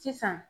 Sisan